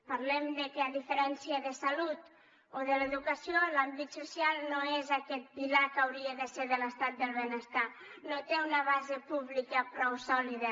parlem de que a diferència de salut o de l’educació l’àmbit social no és aquest pilar que hauria de ser de l’estat del benestar no té una base pública prou sòlida